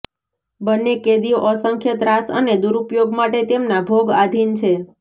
બંને કેદીઓ અસંખ્ય ત્રાસ અને દુરુપયોગ માટે તેમના ભોગ આધિન છે